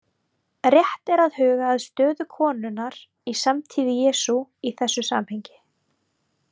Rétt er að huga að stöðu konunnar í samtíð Jesú í þessu samhengi.